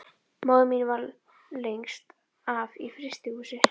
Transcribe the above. Móðir mín vann lengst af í frystihúsi.